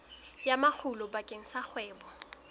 ya makgulo bakeng sa kgwebo